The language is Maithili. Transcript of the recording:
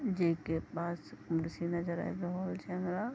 जे के पास कुर्सी नजर आब रहल छै हमरा।